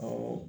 Awɔ